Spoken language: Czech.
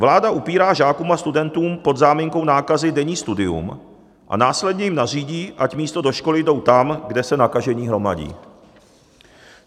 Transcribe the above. Vláda upírá žákům a studentům pod záminkou nákazy denní studium a následně jim nařídí, ať místo do školy jdou tam, kde se nakažení hromadí.